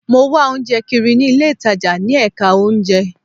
Mo wá oúnjẹ kiri ní ilé ìtajà ní ẹ̀ka oúnjẹ